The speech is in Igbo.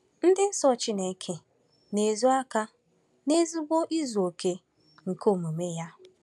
Ịdị nsọ Chineke na-ezo aka n’ezigbo izu okè nke omume ya.